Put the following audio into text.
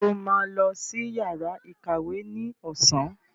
Sọ ma lọ sí yàrá ìkàwé ní ọ̀sán?